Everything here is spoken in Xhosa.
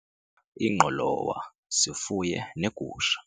ingqolowa sifuye neegusha.